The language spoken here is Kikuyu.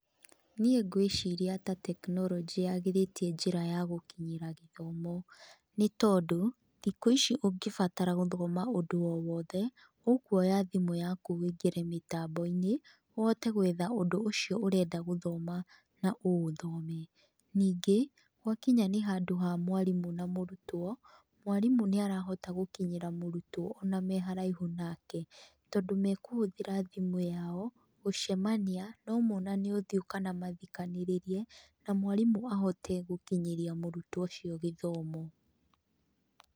Niĩ ngũĩciria ta tekinoronjĩ yagĩrĩtie njĩra ya gũkinyĩra gĩthomo. Nĩ tondũ, thikũ ici ũngĩbatara gũthoma ũndũ o wothe ũkuoya thimũ yaku ũingĩre mĩtambo-inĩ, ũhote gwetha ũndũ ũcio ũrenda gũthoma na ũũthome. Ningĩ, gwakinya nĩ handũ ha mwarimũ na mũrutwo, mwarimũ nĩ arahota gũkinyĩra mũrutwo ona meharaihu nake, tondũ makũhũthĩra thimũ yao gũcemania, no monane ũthiũ kana mathikanĩrĩrie na mwarimũ ahote gũkinyĩria mũrũtwo ũcio gĩthomo.